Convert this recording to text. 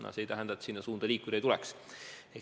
Aga see ei tähenda, et sellesse suunda liikuda ei tuleks.